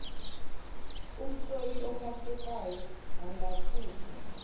umhloli ophathekayo angasusa